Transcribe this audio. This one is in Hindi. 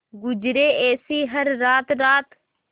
गुजरे ऐसी हर रात रात